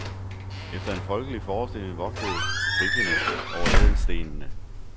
Efter en folkelig forestilling vogtede griffene over ædelstene.